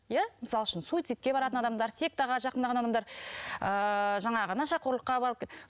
иә мысал үшін суицидке баратын адамар сектаға жақындаған адамдар ы жаңағы нашақорлыққа барып